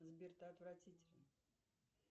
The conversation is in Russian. сбер ты отвратителен